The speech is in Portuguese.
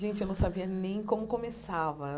Gente, eu não sabia nem como começava.